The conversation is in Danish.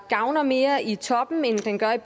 gavner mere i toppen end den gavner